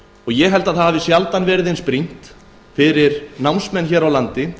ég held að sjaldan hafi verið eins brýnt fyrir námsmenn hér á landi